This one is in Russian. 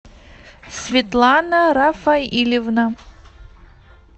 светлана рафаильевна